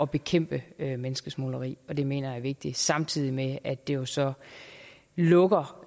bekæmpe menneskesmugleri og det mener jeg er vigtigt samtidig med at det jo så lukker